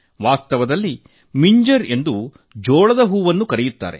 ವಾಸ್ತವದಲ್ಲಿ ಮಿಂಜರ್ ಎಂದು ಜೋಳದ ಹೂವನ್ನು ಕರೆಯುತ್ತಾರೆ